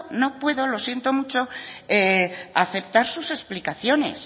no puedo lo siento mucho aceptar sus explicaciones